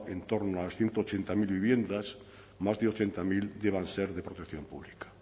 en torno a las ciento ochenta mil viviendas más de ochenta mil llegan a ser de protección pública